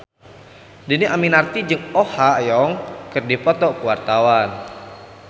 Dhini Aminarti jeung Oh Ha Young keur dipoto ku wartawan